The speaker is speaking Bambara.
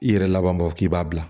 I yɛrɛ laban mɔ k'i b'a bila